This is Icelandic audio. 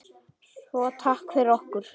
Svo takk fyrir okkur.